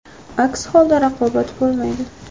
Aks holda raqobat bo‘lmaydi.